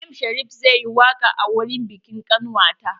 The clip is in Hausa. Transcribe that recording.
M Sharif zai yi waƙa a wurin biƙin ƙanwata.